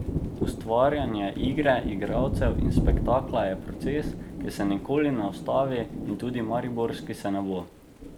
Ustvarjanje igre, igralcev in spektakla je proces, ki se nikoli ne ustavi in tudi mariborski se ne bo.